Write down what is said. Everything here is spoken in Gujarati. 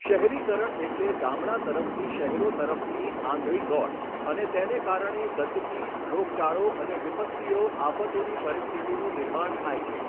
શહેરીકરણ એટલે ગામડાં તરફથી શહેરો તરફની આંધળી દોટ અને તેને કારણે ગંદકી રોગચાળો અને વિપત્તિઓ આફતોની પરિસ્થિતિનું નિર્માણ થાય છે.